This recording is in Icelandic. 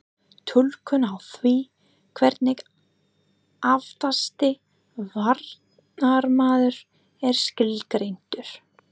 Túlkun á því hvernig aftasti varnarmaður er skilgreindur?